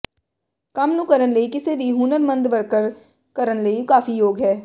ਕੰਮ ਨੂੰ ਕਰਨ ਲਈ ਕਿਸੇ ਵੀ ਹੁਨਰਮੰਦ ਵਰਕਰ ਕਰਨ ਲਈ ਕਾਫ਼ੀ ਯੋਗ ਹੈ